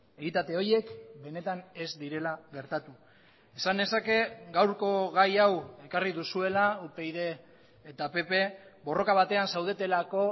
egitate horiek benetan ez direla gertatu esan nezake gaurko gai hau ekarri duzuela upyd eta pp borroka batean zaudetelako